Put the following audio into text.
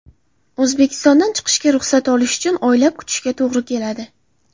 O‘zbekistondan chiqishga ruxsat olish uchun oylab kutishga to‘g‘ri keladi.